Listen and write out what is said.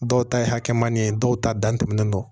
Dɔw ta ye hakɛmani ye dɔw ta dan tɛmɛnen don